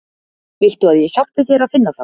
Viltu að ég hjálpi þér að finna þá?